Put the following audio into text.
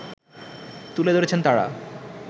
তুলে ধরেছেন তারা